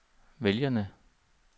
vælgerne